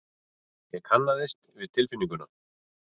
Ég kannaðist við tilfinninguna.